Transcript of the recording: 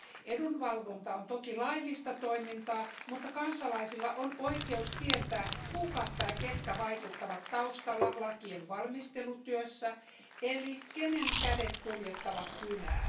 Edunvalvonta on toki laillista toimintaa, mutta kansalaisilla on oikeus tietää, kuka tai ketkä vaikuttavat taustalla lakien valmistelutyössä, eli kenen kädet kuljettavat kynää.